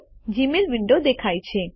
Gmail window દેખાય છે